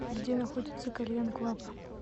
где находится кальян клаб